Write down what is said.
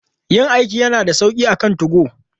Yin aiki yana da sauƙi akan 2go.